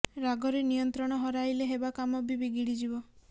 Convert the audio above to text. ରାଗରେ ନିୟନ୍ତ୍ରଣ ହରାଇଲେ ହେବା କାମ ବି ବିଗିଡ଼ି ଯିବ